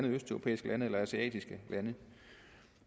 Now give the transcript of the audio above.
østeuropæiske eller asiatiske lande